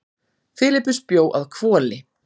filippus bjó að hvoli